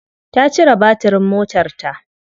Ta cire batirin motarta.